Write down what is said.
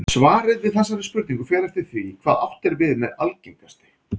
Svarið við þessari spurningu fer eftir því hvað átt er við með algengasti.